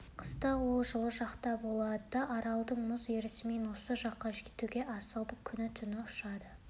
қыста олар жылы жақта болады да аралда мұз ерісімен осы жаққа жетуге асығып күні-түні ұшады